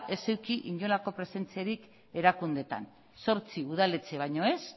ez eduki inolako presentziarik erakundeetan zortzi udaletxe baino ez